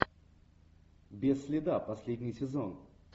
без следа последний сезон